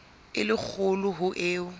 e le kgolo ho eo